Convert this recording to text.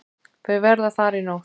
Þau verða þar í nótt.